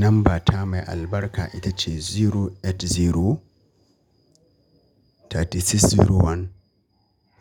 Namba ta mai albarka ita ce zero eight zero thirty six zero one